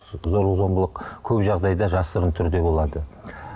зорлық зомбылық көп жағдайда жасырын түрде болады